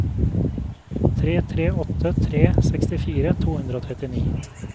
tre tre åtte tre sekstifire to hundre og trettini